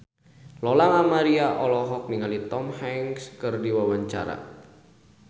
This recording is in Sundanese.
Lola Amaria olohok ningali Tom Hanks keur diwawancara